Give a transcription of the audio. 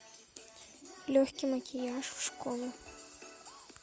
легкий макияж в школу